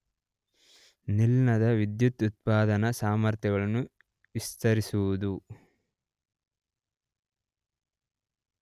ನಿಲ್ದಾಣದ ವಿದ್ಯುತ್ ಉತ್ಪಾದನಾ ಸಾಮರ್ಥ್ಯಗಳನ್ನು ವಿಸ್ತರಿಸುವುದು